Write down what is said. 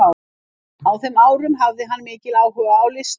Á þeim árum hafði hann mikinn áhuga á listum.